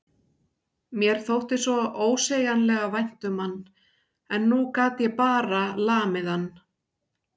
Mér þótti svo ósegjanlega vænt um hann en nú gat ég bara lamið hann.